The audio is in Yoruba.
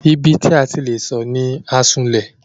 Ibi tí a ti le sọ̀ ni Asunlẹ̀.